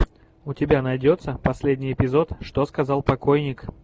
у тебя найдется последний эпизод что сказал покойник